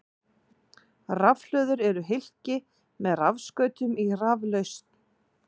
Rafhlöður eru hylki með rafskautum í raflausn.